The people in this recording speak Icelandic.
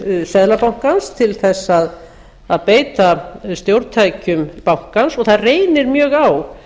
getu seðlabankans til þess að beita stjórntækjum bankans og það reynir mjög á